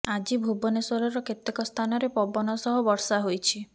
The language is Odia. ଆଜି ଭୁବନେଶ୍ବରର କେତେକ ସ୍ଥାନରେ ପବନ ସହ ବର୍ଷା ହୋଇଛି